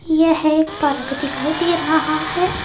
यह एक पार्क दिखाई दे रहा है।